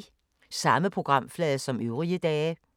Samme programflade som øvrige dage